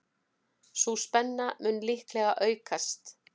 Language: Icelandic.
Sú spenna mun líklega aukast.